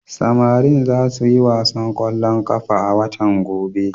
Samari za su yi wasan ƙwallon ƙafa a watan gobe.